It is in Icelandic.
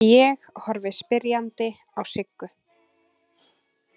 Ég horfi spyrjandi á Siggu.